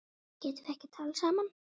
Getum við ekki talað saman?